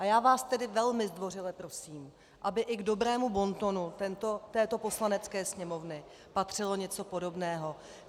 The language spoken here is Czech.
A já vás tedy velmi zdvořile prosím, aby i k dobrému bontonu této Poslanecké sněmovny patřilo něco podobného.